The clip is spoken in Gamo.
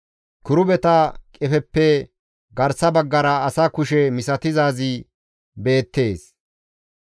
Kirubeta qefeppe garsa baggara asa kushe misatizaazi beettees.